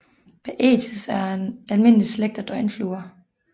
Baetis er en almindelig slægt af døgnfluer